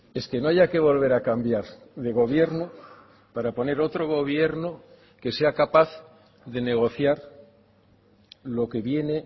es que no haya que volver a cambiar de gobierno para poner otro gobierno que sea capaz de negociar lo que viene